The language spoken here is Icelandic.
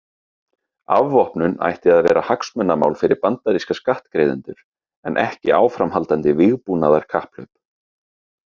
Afvopnun ætti að vera hagsmunamál fyrir bandaríska skattgreiðendur en ekki áframhaldandi vígbúnaðarkapphlaup.